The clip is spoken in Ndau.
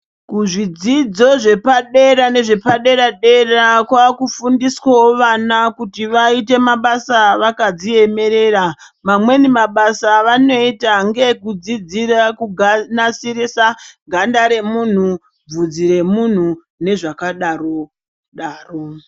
Kuzvidzidzo zvepadera nezvepadera dera kwaakufundiswao vana kuti vaite mabasa vakazviemerera vamweni mabasa avanoita ndeekudzidzira kunasirisa ganda remunhu bvudzi remunhu nezvakadaro daro.